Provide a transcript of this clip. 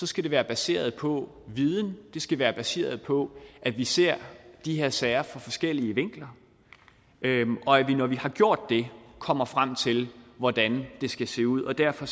skal det være baseret på viden det skal være baseret på at vi ser de her sager fra forskellige vinkler og at vi når vi har gjort det kommer frem til hvordan det skal se ud derfor